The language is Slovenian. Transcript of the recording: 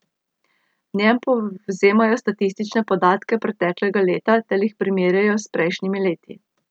V njem povzemajo statistične podatke preteklega leta ter jih primerjajo s prejšnjimi leti.